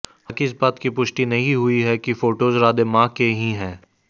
हालांकि इस बात की पुष्टि नहीं हुई है कि फोटोज राधे मां के ही हैं